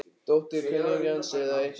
Dóttir kunningja hans eða eitthvað svoleiðis.